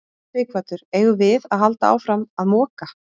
Sighvatur: Eigum við að halda áfram að moka?